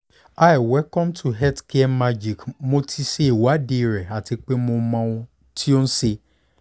hiwelcome to healthcaremagicmo ti ṣe ìwádìí rẹ ati pe o mọ ohun ti o n ṣe